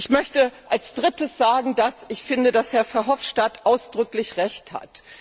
Ich möchte als drittes sagen, dass ich finde, dass Herr Verhofstadt ausdrücklich Recht hat.